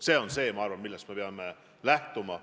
See on see, ma arvan, millest me peame lähtuma.